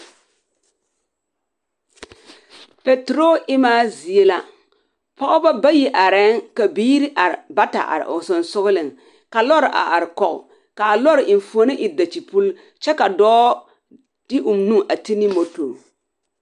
Patoroo emaa zie la. Pͻgebͻ bayi arԑԑŋ ka biiri are bata are o sensogeleŋ ka lͻre a are kͻge kaa lͻͻre enfuoni e dakyepuli kyԑ ka dͻͻ de o nu a te ne moto.